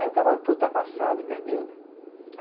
Aí o cavalo foi ultrapassado e perdeu, né?